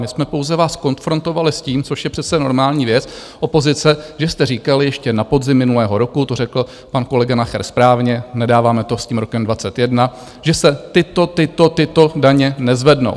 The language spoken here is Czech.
My jsme pouze vás konfrontovali s tím, což je přece normální věc opozice, že jste říkali, ještě na podzim minulého roku to řekl pan kolega Nacher správně, nedáváme to s tím rokem 21, že se tyto, tyto, tyto daně nezvednou.